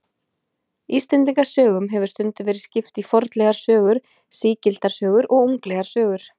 Íslendingasögum hefur stundum verið skipt í fornlegar sögur, sígildar sögur og unglegar sögur.